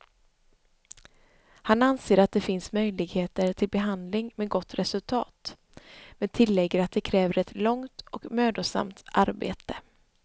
Han anser att det finns möjligheter till behandling med gott resultat, men tillägger att det kräver ett långt och mödosamt arbete.